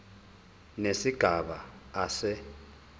nesigaba a se